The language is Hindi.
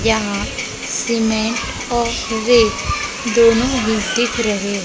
यहां सीमेंट और रेत दोनों भी दिख रहे हैं।